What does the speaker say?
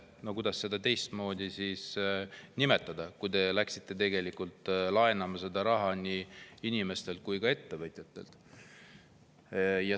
No kuidas seda teistmoodi nimetada, kui te läksite inimestelt ja ettevõtjatelt raha laenama?